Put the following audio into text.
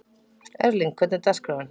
Erling, hvernig er dagskráin?